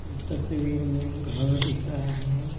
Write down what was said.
इस तस्वीर में घर दिख रहे है।